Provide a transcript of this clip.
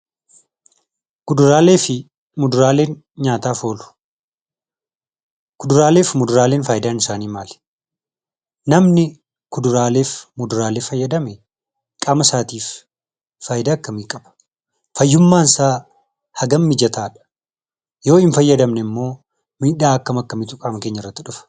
Kuduraalee fi muduraaleen nyaataaf oolu. Kuduraalee fi muduraaleen faayidaan isaanii maali? Namni kuduraaleef muduraalee fayyadame qaamasaatif faayidaa akkamii qaba? fayyummaansaa hagam mijataadha? Yoo hin fayyadamne immoo miidhaa akkam akkamiitu qaama keenyarratti dhufa?